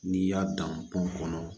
N'i y'a dan pɔn kɔnɔ